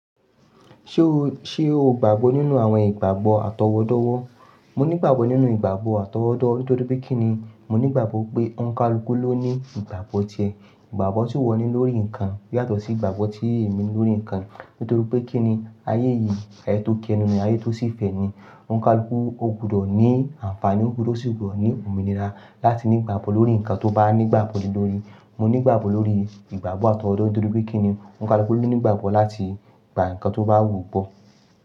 Ṣé o, ṣe o gbàgbọ́ nínú àwọn ìgbàgbọ́ àtọwọdọwọ́? Mo nígbàgbọ́ nínú ìgbàgbọ́ àtọwọdọ nítorí pé kíni mo nígbàgbọ́ pé Ọnkàlú ló ní ìgbàgbọ́ tíẹ̀. Ìgbàgbọ́ tí wọ́n ní lórí nǹkan yàtọ̀ sí ìgbàgbọ́ tí èmi ní lórí nǹkan nítorí pé kíni ayé yìí, ayé tó kí ẹnu ni, ayé tó sì fẹ́ ni. Ọnkàlú ó gbọdọ̀ ní àǹfààní, ó gbọdọ̀ sì ní òmìnira láti ní ìgbàgbọ́ lórí nǹkan tó bá nígbàgbọ́ nìí lórí. Mo nígbàgbọ́ lórí ìgbàgbọ́ àtọwọdọ nítorí pé kíni Ọnkàlú ló ní ìgbàgbọ́ láti gba nǹkan tó bá wù ú bọ̀.